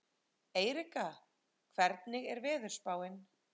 Erika, hvernig er veðurspáin?